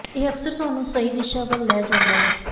ਇਹ ਅਕਸਰ ਤੁਹਾਨੂੰ ਸਹੀ ਦਿਸ਼ਾ ਵੱਲ ਲੈ ਜਾਂਦਾ ਹੈ